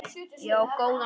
Ég á góðan son.